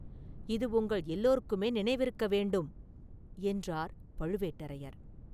இது உங்கள் எல்லாருக்குமே நினைவிருக்க வேண்டும்!” என்றார் பழுவேட்டரையர்.